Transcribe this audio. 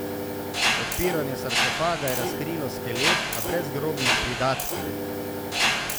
Odpiranje sarkofaga je razkrilo skelet, a brez grobnih pridatkov.